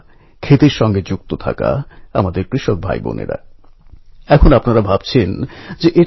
সময়ের সঙ্গে সঙ্গে এই উৎসবের জনপ্রিয়তা বাড়তে লাগল